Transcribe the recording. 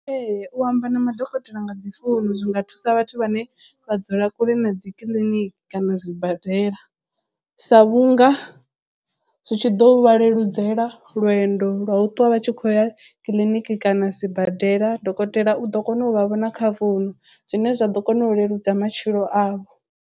Ee u amba na madokotela nga dzi founu zwi nga thusa vhathu vhane vha dzula kule na dzi kiḽiniki kana zwibadela sa vhunga zwi tshi ḓo vha leludzela lwendo lwa u ṱwa vha tshi khou ya kiḽiniki kana sibadela dokotela u ḓo kona u vha vhona kha founu zwine zwa ḓo kona u leludza matshilo avho.